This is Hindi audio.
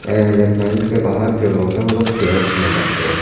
एंड टेंट के बाहर जो लोग हैं वो लोग चेयर्स में बैठे हैं।